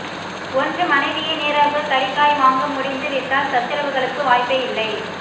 ஒன்று மனைவியே நேராக கறிகாய் வாங்க முடிந்து விட்டால் சச்சரவுகளுக்கு வாய்ப்பே இல்லை